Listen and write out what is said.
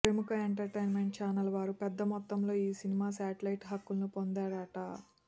ప్రముఖ entertainment channel వారు పెద్ద మొత్తంలోనే ఈ సినిమా శాటిలైట్ హక్కులను పొందారట